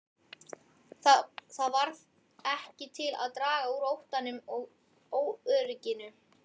Það varð ekki til að draga úr óttanum og óörygginu.